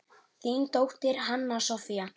Þín dóttir, Hanna Soffía.